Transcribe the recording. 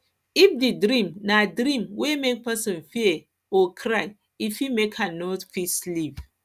if di dream na dream wey make person fear make person fear or cry e fit make am no fit sleep